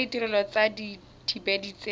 tsona ditirelo tsa dithibedi tse